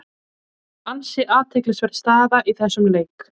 Ansi athyglisverð staða í þessum leik.